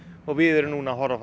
og við erum núna að horfa